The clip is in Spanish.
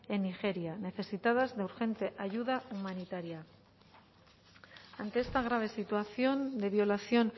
en nigeria necesitadas de urgente ayuda humanitaria ante esta grave situación de violación